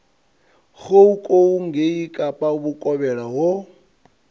goukou ngei kapa vhukovhela ho